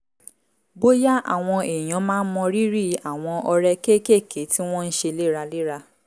bóyá àwọn èèyàn máa ń mọrírì àwọn ọrẹ kéékèèké tí wọ́n ń ṣe léraléra